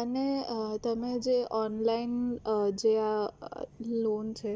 અને તમે જે online જે આ loan છે